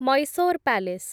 Mysore palace